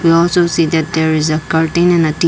and also see that there is a cutting on a .